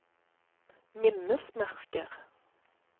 minnesmerker